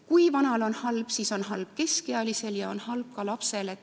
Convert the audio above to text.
Kui vanal on halb, siis on halb keskealisel ja on halb ka lapsel.